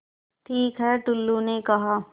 ठीक है टुल्लु ने कहा